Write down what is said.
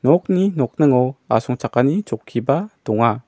nokni nokningo asongchakani chokkiba donga.